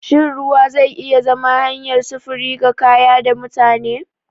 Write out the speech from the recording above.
Shin ruwa zai iya zama hanyar sufuri ga kaya da mutane?